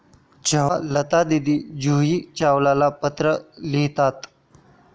जेव्हा लतादीदी जुही चावलाला पत्र लिहितात!